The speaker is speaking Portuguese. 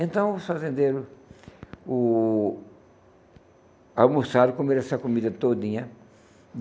Então os fazendeiros o almoçaram, comeram essa comida todinha.